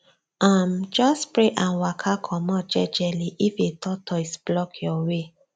um just pray and waka comot jejeli if a tortoise block your way